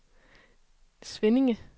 Svinninge